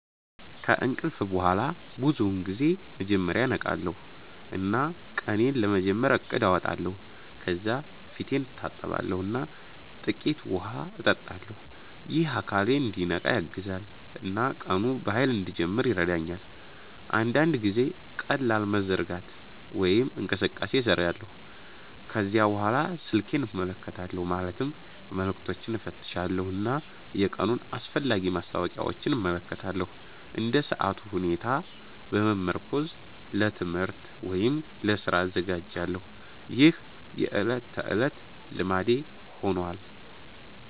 ከእንቅልፍ በኋላ ብዙውን ጊዜ መጀመሪያ እነቃለሁ እና ቀኔን ለመጀመር እቅድ አወጣለሁ። ከዚያ ፊቴን እታጠባለሁ እና ጥቂት ውሃ እጠጣለሁ። ይህ አካሌን እንዲነቃ ያግዛል እና ቀኑን በኃይል እንድጀምር ይረዳኛል። አንዳንድ ጊዜ ቀላል መዘርጋት ወይም እንቅስቃሴ እሰራለሁ። ከዚያ በኋላ ስልኬን እመለከታለሁ ማለትም መልዕክቶችን እፈትሻለሁ እና የቀኑን አስፈላጊ ማስታወቂያዎች እመለከታለሁ። እንደ ሰዓቱ ሁኔታ በመመርኮዝ ለትምህርት ወይም ለስራ እዘጋጃለሁ። ይህ የዕለት ተዕለት ልማዴ ሆኗል።